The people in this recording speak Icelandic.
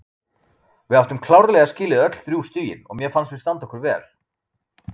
Við áttum klárlega skilið öll þrjú stigin og mér fannst við standa okkur vel.